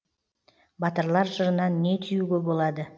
батырлар жырынан не түюге болады